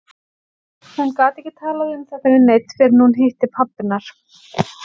Hún gat ekki talað um þetta við neinn fyrr en hún hitti pabba hennar.